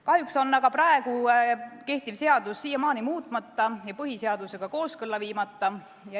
Kahjuks on praegu kehtiv seadus siiamaani muutmata ja põhiseadusega kooskõlla viimata.